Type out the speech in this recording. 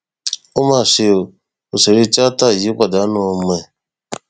ó mà ṣe ọ òṣèré tìata yìí pàdánù ọmọ ẹ